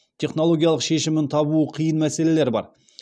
технологиялық шешімін табуы қиын мәселелер бар